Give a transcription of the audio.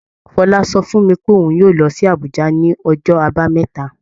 Fọlá sọ fún mi pé òun yóò lọ sí Àbújá ní ọjọ́ Àbámẹ́ta